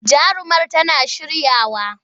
Jarumar tana shiryawa.